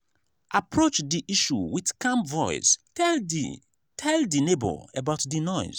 approach di issue with calm voice tell di tell di neighbour about di noise